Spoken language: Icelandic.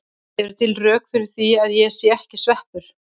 Eru til rök fyrir því að ég sé ekki sveppur?